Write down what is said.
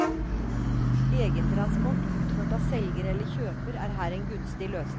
Egentransport utført av selger eller kjøper er her en gunstig løsning.